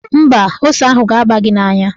Mba, ose ahụ ga-aba gị n'anya.